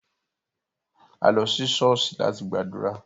A lo si ṣọ̀ọ́sì lati gbadura.